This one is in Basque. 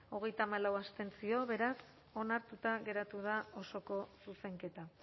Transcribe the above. hogeita hamalau abstentzio beraz onartuta geratu da osoko zuzenketa